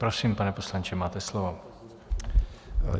Prosím, pane poslanče, máte slovo.